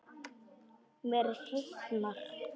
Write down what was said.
Mér hitnar.